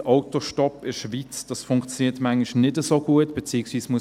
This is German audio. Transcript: Autostopp in der Schweiz funktioniert manchmal nicht so gut, beziehungsweise: